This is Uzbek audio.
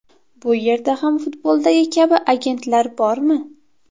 Bu yerda ham futboldagi kabi agentlar bormi?